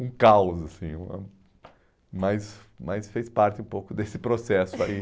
Um caos assim, mas mas fez parte um pouco desse processo aí.